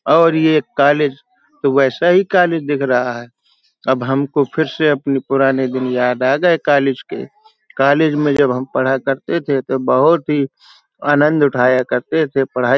और ये कॉलेज तो वैसा ही कॉलेज दिख रहा है। अब हमको फिर से अपने पुराने दिन याद आ गए कॉलेज के कॉलेज में जब हम पढ़ा करते थे तो बहोत ही आनंद उठाया करते थे पढाई --